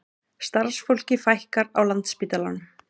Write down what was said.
Starfsfólki fækkar á Landspítalanum